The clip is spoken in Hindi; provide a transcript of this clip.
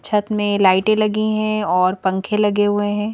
छत में लाइटें लगी हैं और पंखे लगे हुए हैं।